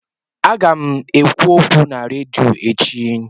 Aga m ekwu okwu na redio echi.